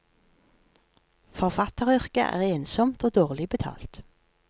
Forfatteryrket er ensomt og dårlig betalt.